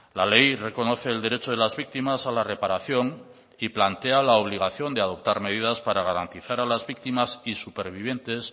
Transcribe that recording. la ley reconoce el derecho de las víctimas a la reparación y plantea la obligación de adoptar medidas para garantizar a las víctimas y supervivientes